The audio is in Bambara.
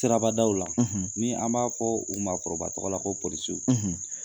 Siraba daw la ni an b'a fɔ u maakɔrɔba tɔgɔ la ko polisiw.